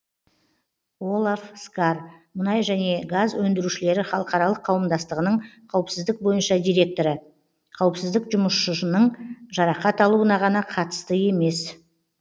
олав скар мұнай және газ өндірушілері халықаралық қауымдастығының қауіпсіздік бойынша директоры қауіпсіздік жұмысшының жарақат алуына ғана қатысты емес